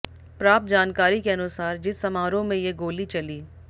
प्राप्त जानकारी के अनुसार जिस समारोह में ये गोली चली